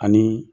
Ani